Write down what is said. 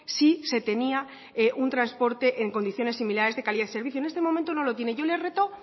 si se tenía un transporte en condiciones similares de calidad y servicio en este momento no lo tiene yo le reto